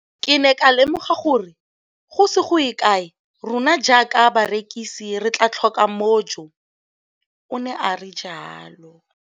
Ke ne ka lemoga gore go ise go ye kae rona jaaka barekise re tla tlhoka mojo, o ne a re jalo.